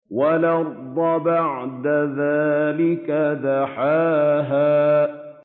وَالْأَرْضَ بَعْدَ ذَٰلِكَ دَحَاهَا